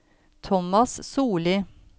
Thomas Solli